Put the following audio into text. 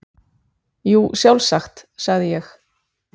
Jú, sjálfsagt, sagði ég.